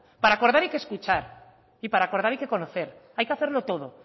para acordar hay que escuchar y para acordar hay que conocer hay que hacerlo todo